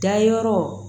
Dayɔrɔ